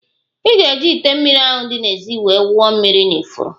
Ị ga-eji ite mmiri ahụ di n'ézì wee wụọ mmiri n'ifuru